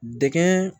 Dɛgɛn